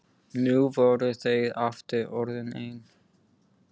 Nú voru þau aftur orðin ein.